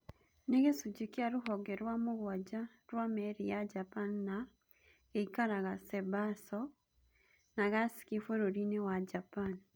Nĩ gĩcunjĩ kĩa rũhonge rwa mũgwanja rwa meri ya Japan na gĩikaraga Sasebo, Nagasaki bũrũri-inĩ wa Japan.